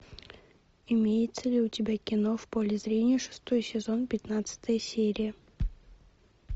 имеется ли у тебя кино в поле зрения шестой сезон пятнадцатая серия